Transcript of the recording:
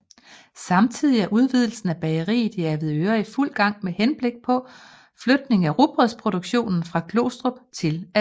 Samtidig er udvidelsen af bageriet i Avedøre i fuld gang med henblik på flytning af rugbrødsproduktionen fra Glostrup til Avedøre